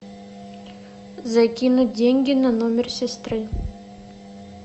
закинуть деньги на номер сестры